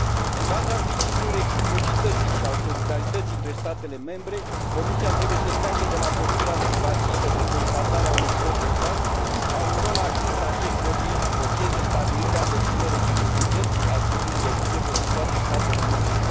În baza principiului reciprocității și al solidarității între statele membre, Comisia trebuie să treacă de la postura pasivă de constatare a unei stări de fapt la un rol activ în acest proces de stabilire a deplinei reciprocități a scutirii de vize pentru toate statele membre.